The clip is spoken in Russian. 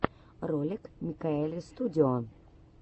ролик микаэльстудио